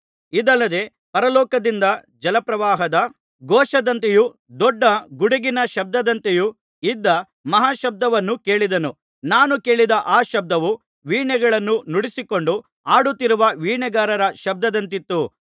ಇದಲ್ಲದೆ ಪರಲೋಕದಿಂದ ಜಲಪ್ರವಾಹದ ಘೋಷದಂತೆಯೂ ದೊಡ್ಡ ಗುಡುಗಿನ ಶಬ್ದದಂತೆಯೂ ಇದ್ದ ಮಹಾಶಬ್ದವನ್ನು ಕೇಳಿದೆನು ನಾನು ಕೇಳಿದ ಆ ಶಬ್ದವು ವೀಣೆಗಳನ್ನು ನುಡಿಸಿಕೊಂಡು ಹಾಡುತ್ತಿರುವ ವೀಣೆಗಾರರ ಶಬ್ದದಂತಿತ್ತು